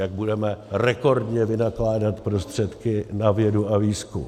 Jak budeme rekordně vynakládat prostředky na vědu a výzkum.